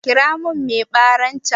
Kira mun mai baran can